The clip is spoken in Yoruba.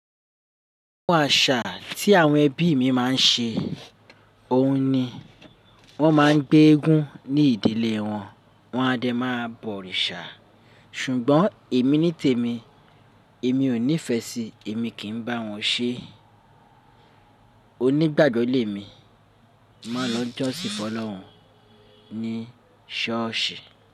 Ohun àṣà tí àwọn ẹbí mi máa ń ṣe, òun ni wọ́n máa ń gbé eégún ní ìdílé wọn, wọ́n a dẹ máa bọ òrìṣà. Ṣùgbọ́n èmi ní tèmi, èmi ò nífẹ síi, èmi kì í bá wọn ṣe. Onígbàgbo le mi máa ń lọ jọ́sìn Fọlọ́run ní ṣọ́ọ̀ṣì.